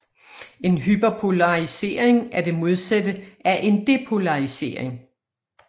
En hyperpolarisering er det modsatte af en depolarisering